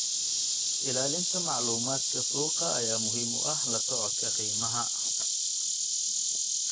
Ilaalinta macluumaadka suuqa ayaa muhiim u ah la socodka qiimaha.